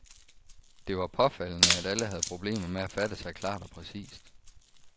Det var påfaldende, at alle havde problemer med at fatte sig klart og præcist.